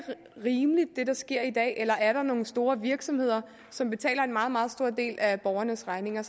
rimeligt hvad der sker i dag eller er der nogle store virksomheder som betaler en meget meget stor del af borgernes regning